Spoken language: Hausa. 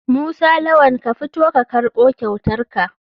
Musa lawal ka fito ka karbo kyautarka.